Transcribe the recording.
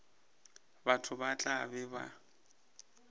batho ba tla be ba